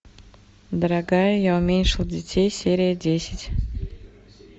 дорогая я уменьшил детей серия десять